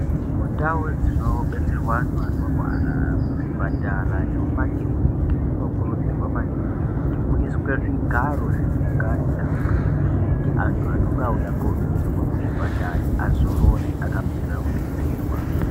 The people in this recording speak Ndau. Mundau dzinobetserwa antu anorwara muzvipatara nemumakiriniki. Munokurudzirwa maningi kuti muiswe zvigaro zvekugarira zvekuti antu anonga auya kobetserwa muzvipatare azorore akamirira kubetserwa.